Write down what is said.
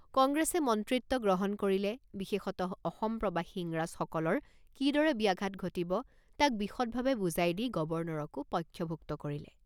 কংগ্ৰেছে মন্ত্ৰিত্ব গ্ৰহণ কৰিলে বিশেষতঃ অসম প্ৰবাসী ইংৰাজসকলৰ কিদৰে ব্যাঘাত ঘটিব তাক বিশদভাৱে বুজাই দি গৱৰ্ণৰকো পক্ষভুক্ত কৰিলে।